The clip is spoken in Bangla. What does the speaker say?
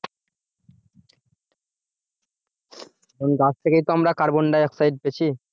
গাছ থেকেই তো আমরা carbon di oxide পেছি?